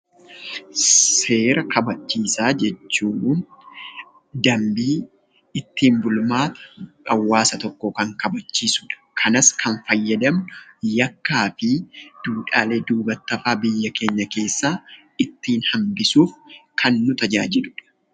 Seera kabachiisaa jechuun dambii ittiin bulmaata hawaasa tokkoo kan kanachiisu akkasumas yakkaa fi duudhaalee duubatti hafaa biyya keenya keessaa ittiin hambisuuf kan nu tajaajilanidha.